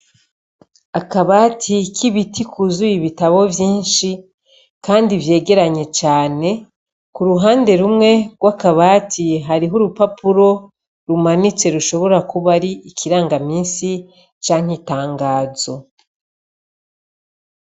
Akabati k'ibiti kuzuye ibitabo vyinshi, kandi vyegeranye cane, k'uruhande rumwe gw'akabati hariho urupapuro rumanitse rushobora kuba ari ikiranga misi canke itangazo.